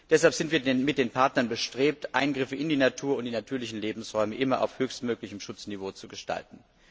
Deshalb sind wir mit den Partnern bestrebt, Eingriffe in die Natur und in die natürlichen Lebensräume immer auf höchstmöglichem Schutzniveau zu gestalten.